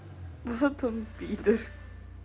вот он пидр